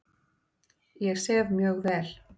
Ég sef mjög vel.